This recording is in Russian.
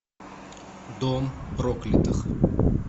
дом проклятых